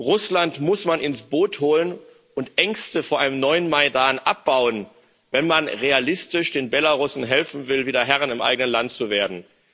Russland muss man ins Boot holen und Ängste vor einem neuen Maidan abbauen, wenn man realistisch den Belarussen helfen will, wieder Herr im eigenen Land zu werden.